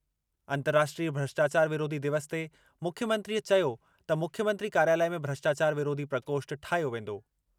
अंर्तराष्ट्रीय भ्रष्टाचार विरोधी दिवस ते मुख्यमंत्रीअ चयो त मुख्यमंत्री कार्यालय में भ्रष्टाचार विरोधी प्रकोष्ठ ठाहियो वेंदो।